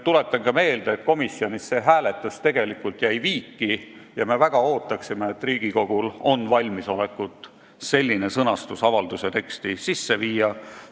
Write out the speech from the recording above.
Tuletan meelde, et komisjonis jäi see hääletus tegelikult viiki, ja me väga ootaksime, et Riigikogul on valmisolek selline sõnastus avalduse teksti sisse viia.